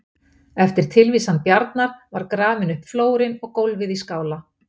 Eftir tilvísan Bjarnar var grafinn upp flórinn og gólfið í skála.